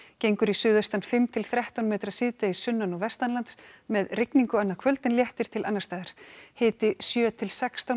gengur í suðaustan fimm til þrettán metra síðdegis sunnan og með rigningu annað kvöld en léttir til annars staðar hiti sjö til sextán